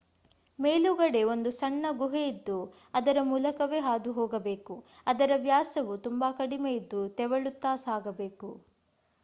ಮೇಲುಗಡೆ ಒಂದು ಸಣ್ಣ ಗುಹೆಯಿದ್ದು ಅದರ ಮೂಲಕವೇ ಹಾದುಹೋಗಬೇಕು ಅದರ ವ್ಯಾಸವು ತುಂಬಾ ಕಡಿಮೆ ಇದ್ದು ತೆವಳುತ್ತಾ ಸಾಗಬೇಕು